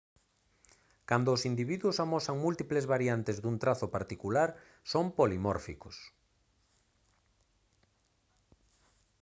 cando os individuos amosan múltiples variantes dun trazo particular son polimórficos